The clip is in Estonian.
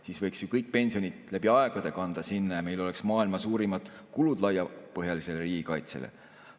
Siis võiks ju kõik pensionid läbi aegade sinna kanda ja meil oleks maailma suurimad kulud laiapõhjalisele riigikaitsele.